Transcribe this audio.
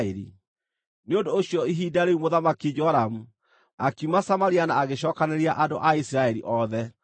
Nĩ ũndũ ũcio ihinda rĩu Mũthamaki Joramu, akiuma Samaria na agĩcookanĩrĩria andũ a Isiraeli othe.